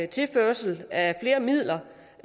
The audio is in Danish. tilførsel af flere midler